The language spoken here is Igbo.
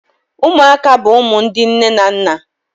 Ụmụaka bụ ụmụ ndị nne na nna